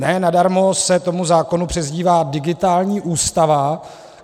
Ne nadarmo se tomu zákon přezdívá digitální ústava.